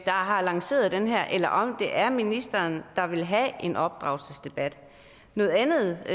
har lanceret den her debat eller om det er ministeren der vil have en opdragelsesdebat noget andet